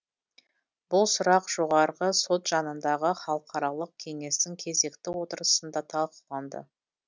бұл сұрақ жоғарғы сот жанындағы халықаралық кеңестің кезекті отырысында талқыланды